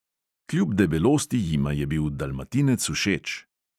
Kljub debelosti jima je bil dalmatinec všeč.